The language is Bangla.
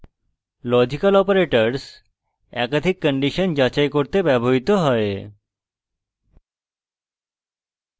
লজিক্যাল অপারেটরস একাধিক কন্ডিশন যাচাই করতে ব্যবহৃত হয়